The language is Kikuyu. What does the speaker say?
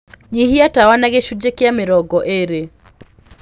nyĩhĩa tawa na gĩcũnjĩ kĩa mĩrongo ĩrĩ